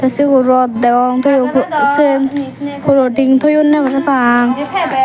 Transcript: te sigun rod degong toyon sen poloting toyonney parapang.